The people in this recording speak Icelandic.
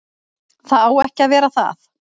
Það á ekki að vera það.